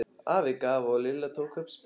Afi gaf og Lilla tók upp spilin.